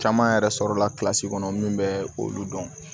Caman yɛrɛ sɔrɔla la kɔnɔ min bɛ olu dɔn